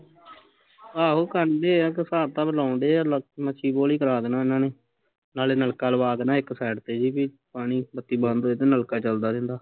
ਆਹੋ ਕਰਦੇ ਆ ਹਿਸਾਬ ਕਿਤਾਬ ਲਾਉਣ ਡਏ ਆ ਮਸੀ ਬੋਰ ਹੀਂ ਕਰਾ ਦੇਣਾ ਏਹਨਾ ਨੇ ਨਾਲੇ ਨਲਕਾ ਲਵਾ ਦੇਣਾ ਇੱਕ ਸੇਡ ਤੇ ਜਹੇ ਵੀ ਪਾਣੀ ਜੇ ਬਈ ਬੱਤੀ ਹੋਜੇ ਤੇ ਨਲਕਾ ਚੱਲਦਾ ਰਹਿੰਦਾ